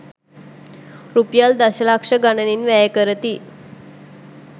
රුපියල් දශ ලක්ෂ ගණනින් වැය කරති.